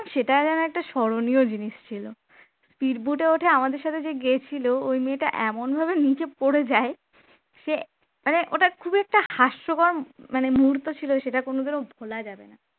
সেটাও যেন একটা স্মরণীয় জিনিস ছিল speed boat এ ওঠে আমাদের সাথে যে গেছিল ওই মেয়েটা এমনভাবে নিচে পড়ে যায় সে মানে ওটা খুবই একটা হাস্যকর মানে মুহূর্ত ছিল সেটা কোনদিনও ভোলা যাবে না